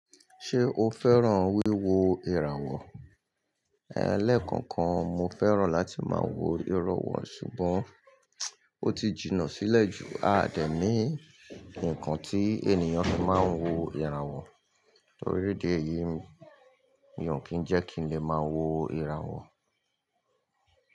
Ṣé o fẹ́ràn wíwo ìràwọ̀? Ẹ̀, lẹ́kakan mo fẹ́ràn láti máa wo ìràwọ̀ ṣùgbọ́n ó ti jìnnà sílẹ̀ jù. A dẹ̀ ní ǹkan tí ènìyàn fi máa ń wo ìràwọ̀. Tori idi eyìí, mi ò kí ń jẹ́ kí n lè máa wo ìràwọ̀.